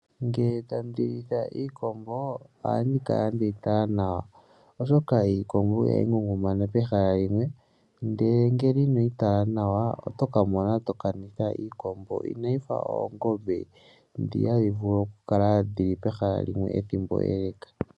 Ngele tandi litha iikombo ohandi kala ndeyi tala nawa, oshoka iikombo ihayi ngungumana pehala limwe, ndele ngele inoyi tala nawa otoka mona tokanitha iikombo, inayi fa oongombe ndhi hadhi vulu okukala dhili pehala limwe ethimbo ele.